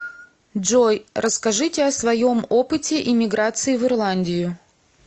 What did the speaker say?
джой расскажите о своем опыте иммиграциии в ирландию